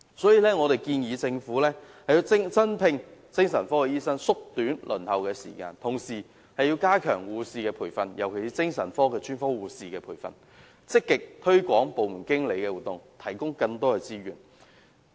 所以，我們建議政府增聘精神科醫生，縮短輪候時間，同時加強護士培訓，尤其是精神科專科護士的培訓，積極推廣個案經理的服務，提供更多資源。